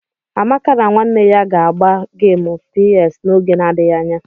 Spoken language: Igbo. Amaka na nwanne ya ga- agba gemu PS n'oge na-adịghị anya.